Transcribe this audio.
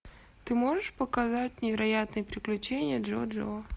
ты можешь показать невероятные приключения джоджо